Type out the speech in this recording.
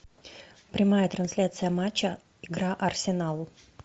прямая трансляция матча игра арсенал